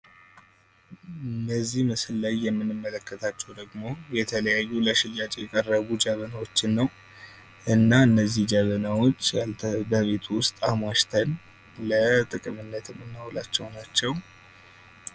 በዚህ ምስል ላይ የምንመለከታቸው ደግሞ የተለያዩ ለሽያጭ የቀረቡ ጀበናዎችን ነው እና እነዚህን ጀበናዎች በቤት ውስጥ አሟሽተን ለጥቅምነት የምናውላቸው ናቸው።